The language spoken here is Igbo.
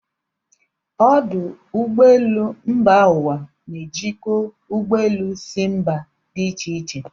Ọdụ ụgbọelụ mba ụwa na-ejikọ ụgbọ elu si mba dị ịche ịche.